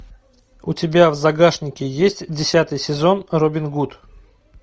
у тебя в загашнике есть десятый сезон робин гуд